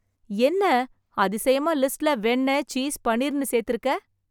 என்ன, அதிசயமா லிஸ்ட்ல வெண்ண, சீஸ், பனீர்னு சேர்த்துருக்க...